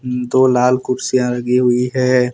दो लाल कुर्सियां लगी हुई है।